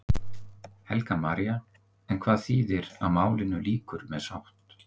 Helga María: En hvað þýðir að málinu lýkur með sátt?